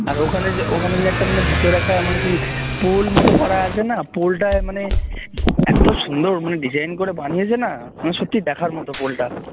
আর ওখানে যে ওখানে যে একটা মানে ভিতরে একটা মানে সেই pool মত করা আছে না আর pool টায় মানে এত সুন্দর design করে বানিয়েছে না মানে সত্যই দেখার মত pool টা